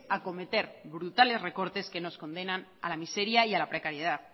acometer brutales recortes que nos condenan a la miseria y a la precariedad